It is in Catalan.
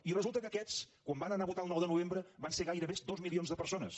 i resulta que aquests quan van anar a votar el nou de novembre van ser gairebé dos milions de persones